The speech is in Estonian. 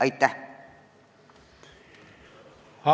Aitäh!